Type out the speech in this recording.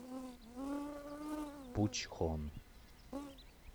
пучхон